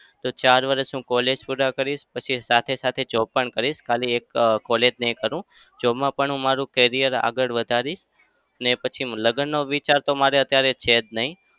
તો ચાર વરસ હું college પૂરા કરીશ. પછી સાથે-સાથે job પણ કરીશ. ખાલી એક અમ college નઈ કરું. job માં પણ હું મારું career આગળ વધારીશ. અને પછી લગ્નનો વિચાર તો મારે અત્યારે છે જ નઈ.